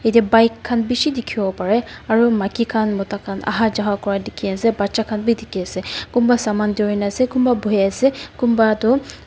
ete bike khan bishi dekhivo lae parae aru maiki khan mota khan aha ja kura dekhi ase bachan khan vi dekhi ase kunba saman dhurina ase kumba bhui ase kumba toh.